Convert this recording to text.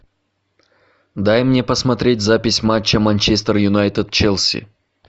дай мне посмотреть запись матча манчестер юнайтед челси